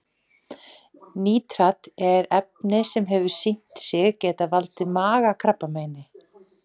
Nítrat er efni sem hefur sýnt sig geta valdið magakrabbameini.